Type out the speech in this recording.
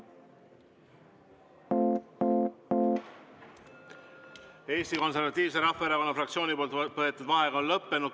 Eesti Konservatiivse Rahvaerakonna fraktsiooni võetud vaheaeg on lõppenud.